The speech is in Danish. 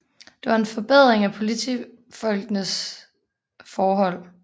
Det var en forbedring af politifolkenes forhold